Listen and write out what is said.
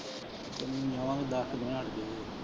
ਹਮ .